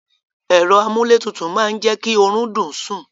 Èro amúlé tutù ma je ki orun dùn sun